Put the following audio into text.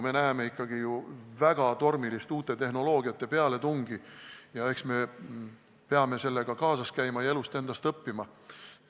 Me näeme ikkagi ju väga tormilist uute tehnoloogiate pealetungi ja eks me peame ajaga kaasas käima ja elust endast õppima.